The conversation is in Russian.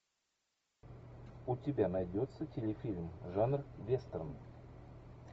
у тебя найдется телефильм жанр вестерн